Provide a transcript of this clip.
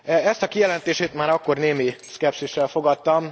Ezt a kijelentését már akkor némi szkepszissel fogadtam.